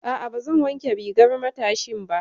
A'a, ba zan wanke rigar matashin ba.